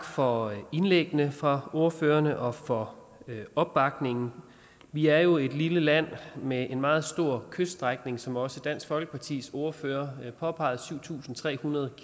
for indlæggene fra ordførerne og for opbakningen vi er jo et lille land med en meget stor kyststrækning som også dansk folkepartis ordfører påpegede syv tusind tre hundrede